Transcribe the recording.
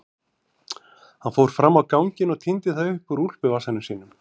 Hann fór fram á ganginn og tíndi það upp úr úlpuvasanum sínum.